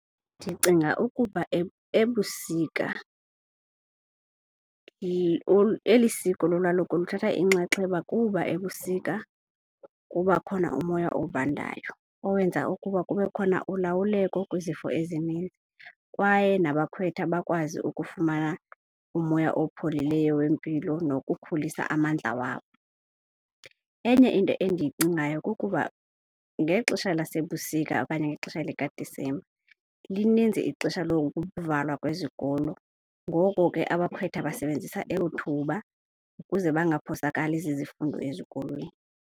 Ndicinga ukuba ebusika eli siko lolwaluko luthatha inxaxheba kuba ebusika kuba khona umoya obandayo owenza ukuba kube khona ulawuleka kwizifo ezininzi, kwaye nabakhwetha bakwazi ukufumana umoya opholileyo wempilo nokukhulisa amandla wabo. Enye into endiyicingayo kukuba ngexesha lasebusika okanye ngexesha likaDisemba lininzi ixesha lokuvalwa kwezikolo, ngoko ke abakhwetha basebenzisa elo thuba ukuze bangaphosakali zizifundo ezikolweni.